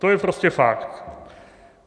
To je prostě fakt.